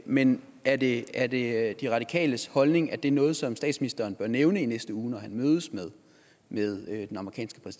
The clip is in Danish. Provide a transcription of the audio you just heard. men er det er det de radikales holdning at det er noget som statsministeren bør nævne i næste uge når han mødes med